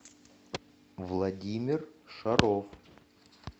владимир шаров